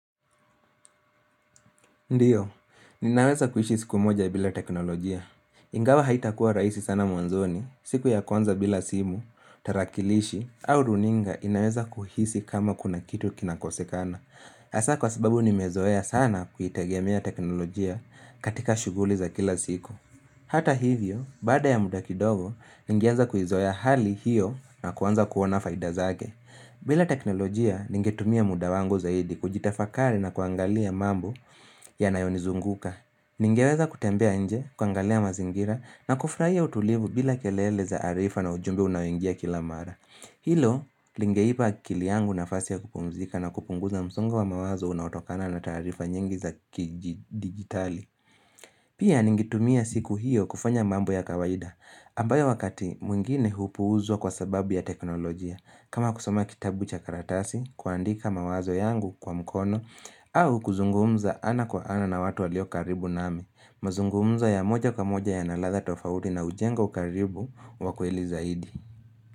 Ndiyo, ninaweza kuishi siku moja bila teknolojia. Ingawa haitakuwa rahisi sana mwanzoni, siku ya kwanza bila simu, tarakilishi, au runinga inaweza kuhisi kama kuna kitu kinakosekana. Hasa kwa sababu nimezoea sana kuitegemea teknolojia katika shughuli za kila siku. Hata hivyo, baada ya muda kidogo, ningeanza kuizoea hali hiyo na kuanza kuona faida zake. Bila teknolojia ningetumia muda wangu zaidi kujitafakari na kuangalia mambo ya nayonizunguka. Ningeweza kutembea nje, kuangalia mazingira na kufurahia utulivu bila kelele za arifa na ujumbe unaoingia kila mara. Hilo, lingeipa akili yangu na fasi ya kupumzika na kupunguza msongo wa mawazo unaotokana na taarifa nyingi za kidijitali. Pia ningetumia siku hiyo kufanya mambo ya kawaida. Ambayo wakati mwingine hupu uzwa kwa sababu ya teknolojia kama kusoma kitabu cha karatasi, kuandika mawazo yangu kwa mkono au kuzungumza ana kwa ana na watu waliokaribu nami mazungumzo ya moja kwa moja ya naladha tofauti na ujengo karibu wakweli zaidi.